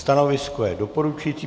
Stanovisko je doporučují.